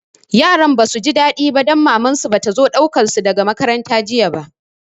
Yaran ba su ji daɗi ba don Mamar su ba ta zo ɗaukar su daga makaranta jiya ba